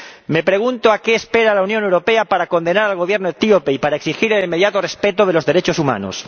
Me pregunto a qué espera la Unión Europea para condenar al Gobierno etíope y para exigir el inmediato respeto de los derechos humanos.